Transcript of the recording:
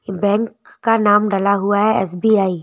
Bank का नाम डला हुआ है एस_बी_आई ।